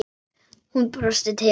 Hún brosti til hans.